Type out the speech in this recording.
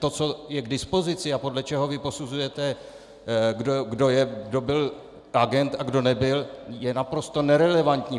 To, co je k dispozici a podle čeho vy posuzujete, kdo byl agent a kdo nebyl, je naprosto nerelevantní.